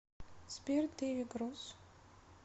сбер дэви гросс